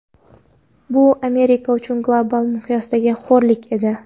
Bu Amerika uchun global miqyosdagi xo‘rlik edi.